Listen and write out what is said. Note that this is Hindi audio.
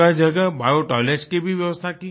जगहजगह बियो टॉयलेट्स की भी व्यवस्था की